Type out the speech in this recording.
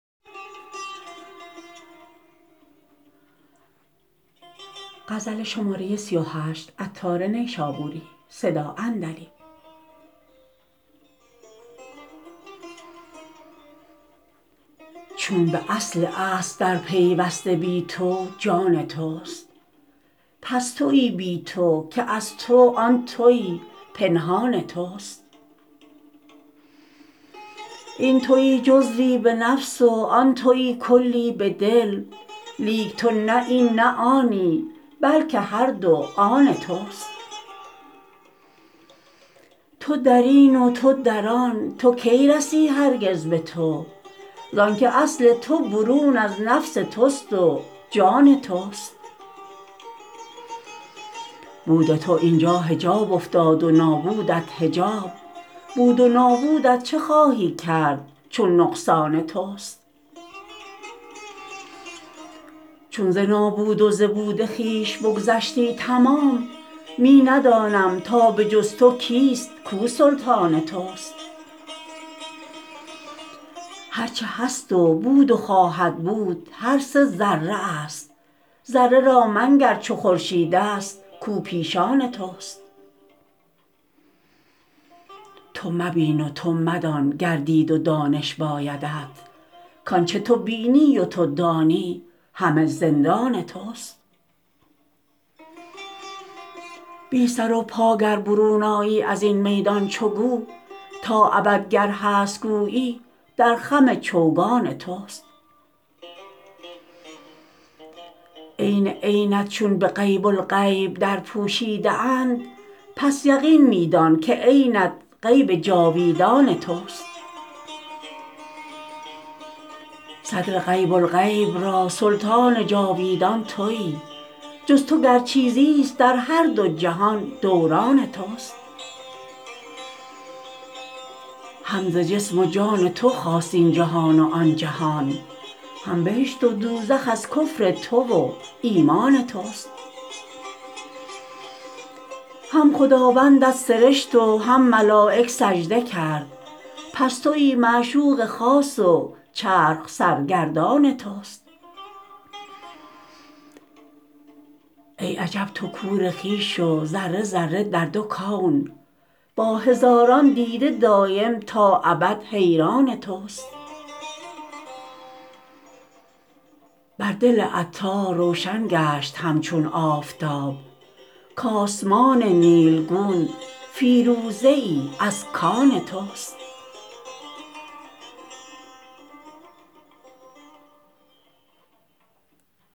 چون به اصل اصل در پیوسته بی تو جان توست پس تویی بی تو که از تو آن تویی پنهان توست این تویی جزوی به نفس و آن تویی کلی به دل لیک تو نه این نه آنی بلکه هر دو آن توست تو درین و تو در آن تو کی رسی هرگز به تو زانکه اصل تو برون از نفس توست و جان توست بود تو اینجا حجاب افتاد و نابودت حجاب بود و نابودت چه خواهی کرد چون نقصان توست چون ز نابود و ز بود خویش بگذشتی تمام می ندانم تا به جز تو کیست کو سلطان توست هر چه هست و بود و خواهد بود هر سه ذره است ذره را منگر چو خورشید است کو پیشان توست تو مبین و تو مدان گر دید و دانش بایدت کانچه تو بینی و تو دانی همه زندان توست بی سر و پا گر برون آیی ازین میدان چو گو تا ابد گر هست گویی در خم چوگان توست عین عینت چون به غیب الغیب در پوشیده اند پس یقین می دان که عینت غیب جاویدان توست صدر غیب الغیب را سلطان جاویدان تویی جز تو گر چیزی است در هر دو جهان دوران توست هم ز جسم و جان تو خاست این جهان و آن جهان هم بهشت و دوزخ از کفر تو و ایمان توست هم خداوندت سرشت و هم ملایک سجده کرد پس تویی معشوق خاص و چرخ سرگردان توست ای عجب تو کور خویش و ذره ذره در دو کون با هزاران دیده دایم تا ابد حیران توست بر دل عطار روشن گشت همچون آفتاب کاسمان نیلگون فیروزه ای از کان توست